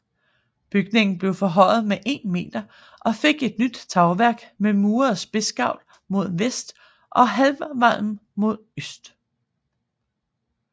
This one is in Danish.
Bygningen blev forhøjet med 1 meter og fik et nyt tagværk med muret spidsgavl mod vest og halvvalm mod øst